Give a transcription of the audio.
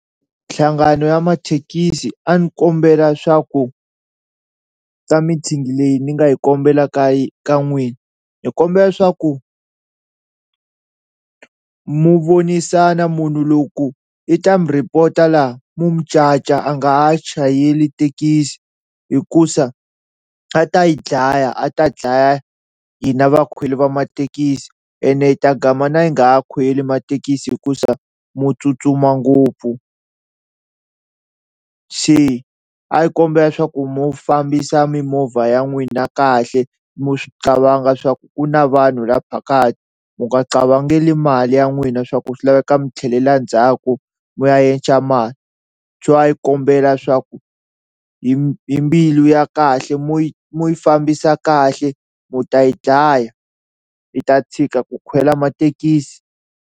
Mihlangano ya mathekisi a ni kombela swa ku ka meeting leyi ni nga yi kombela ka ka n'wina ni kombela swaku mu vonisana munhu loko i ta mu report-a laha mu mu caca a nga ha chayeli thekisi hikuza a ta hi dlaya a ta dlaya hina vakhweli va mathekisi ene hi ta gama na hi nga ha khweli mathekisi hikuza mo tsutsuma ngopfu, se a hi kombela swa ku mu fambisa mimovha ya n'wina kahle mu swi qavanga swa ku ku na vanhu la phakathi mi nga qavangeli mali ya n'wina swa ku swi laveka mi tlhelela ndzhaku mi ya yenca mali, so a hi kombela swaku hi hi mbilu ya kahle mu mu yi fambisa kahle mu ta yi dlaya hi ta tshika ku khwela mathekisi.